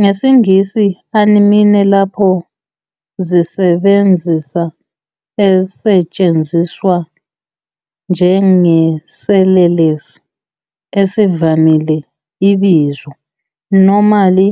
NgesiNgisi, "anime," lapho zisebenzisa esetshenziswa njengeselelesi esivamile Ibizo -normally